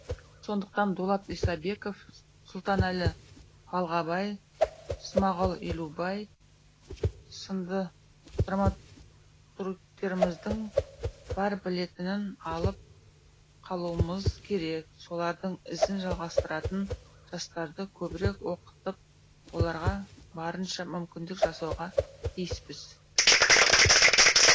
сондықтан дулат исабеков сұлтанәлі балғабай смағұл елубай сынды драматургтеріміздің бар білетінін алып қалуымыз керек солардың ізін жалғастыратын жастарды көбірек оқытып оларға барынша мүмкіндік жасауға тиіспіз